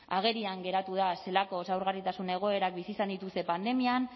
agerian geratu da zelako zaurgarritasun egoerak bizi izan dituzte pandemian